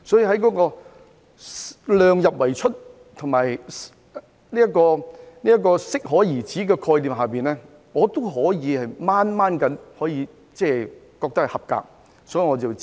所以，在量入為出與適可而止的概念之下，我覺得預算案尚算合格，所以我要支持。